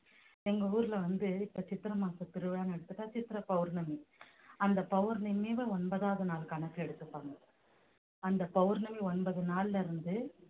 எங்க ஊர்ல வந்து இப்ப சித்திரை மாசம் திருவிழா எடுத்துட்டா சித்திரை பௌர்ணமி அந்த பௌர்ணமி ஒன்பதாவது நாள் கணக்கு எடுத்துப்பாங்க அந்த பௌர்ணமி ஒன்பது நாள்ல இருந்து